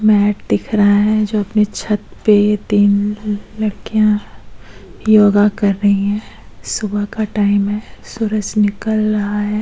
Mat दिख रहा है जो अपने छत पे यह तीन लड़किया योगा कर रही है सुबह का टाइम है सूरज निकल रहा है।